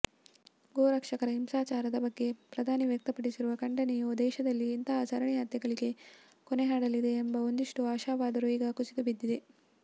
ಗೋರಕ್ಷಕರ ಹಿಂಸಾಚಾರದ ಬಗ್ಗೆ ಪ್ರಧಾನಿ ವ್ಯಕ್ತಪಡಿಸಿರುವ ಖಂಡನೆಯು ದೇಶದಲ್ಲಿ ಇಂತಹ ಸರಣಿ ಹತ್ಯೆಗಳಿಗೆ ಕೊನೆಹಾಡಲಿದೆಯೆಂಬ ಒಂದಿಷ್ಟು ಆಶಾವಾದವೂ ಈಗ ಕುಸಿದುಬಿದ್ದಿದೆ